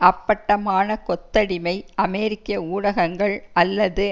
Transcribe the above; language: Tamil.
அப்பட்டமான கொத்தடிமை அமெரிக்க ஊடகங்கள் அல்லது